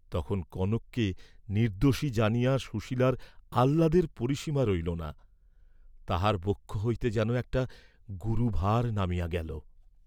তখন কনককে নির্দ্দোষী জানিয়া সুশীলার আহ্লাদের পরিসীমা রহিল না, তাঁহার বক্ষ হইতে যেন একটা গুরুভার নামিয়া গেল।